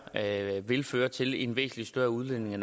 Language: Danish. at det her vil føre til en væsentlig større udledning af